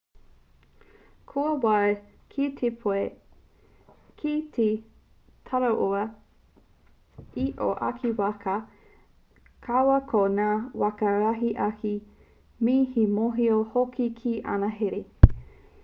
kua wāia kē pea koe ki te taraiwa i tōu ake waka kaua ko ngā waka rahi ake me te mōhio hoki ki ana here